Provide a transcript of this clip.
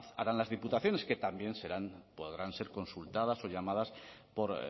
harán las diputaciones que también serán podrán ser consultadas o llamadas por